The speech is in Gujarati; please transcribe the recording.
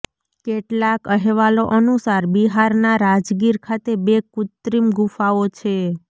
કેટલાક અહેવાલો અનુસાર બિહારના રાજગીર ખાતે બે કૃત્રિમ ગુફાઓ છે